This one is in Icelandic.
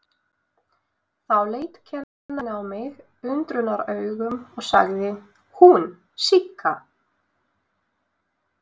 Þá leit kennarinn á mig undrunaraugum og sagði: Hún Sigga?